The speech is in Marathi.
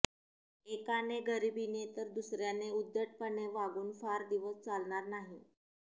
एकाने गरिबीने तर दुसऱ्याने उद्धटपणे वागून फार दिवस चालणार नाही